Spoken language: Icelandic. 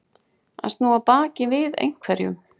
Að snúa baki við einhverjum